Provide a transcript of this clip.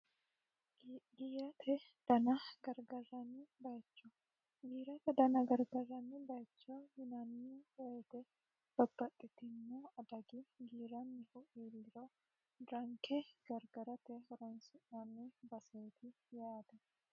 giirate dana gargarranni bayicho giirate dana gargarranni bayicho yinanni woyite boq babbaxxitino adagi giirannihu iiliro ranke gargarate horonsi'nanni baseeti yaate